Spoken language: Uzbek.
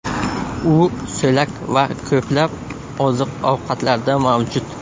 U so‘lak va ko‘plab oziq-ovqatlarda mavjud.